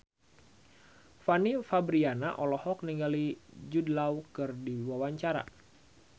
Fanny Fabriana olohok ningali Jude Law keur diwawancara